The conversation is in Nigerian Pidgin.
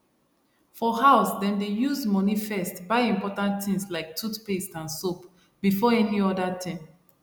for house dem dey use money first buy important things like toothpaste and soap before any other thing